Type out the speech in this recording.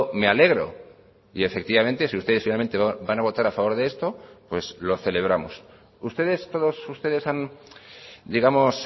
me alegro y efectivamente si ustedes finalmente van a votar a favor de esto pues lo celebramos ustedes todos ustedes han digamos